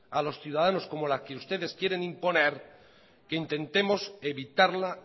a los ciudadanos como la que ustedes quieren imponer que intentemos evitarla